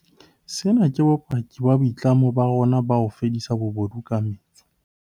Sena ke bopaki ba boitlamo ba rona ba ho fedisa bobodu ka metso.